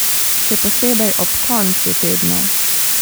Še posebej ob koncu tedna.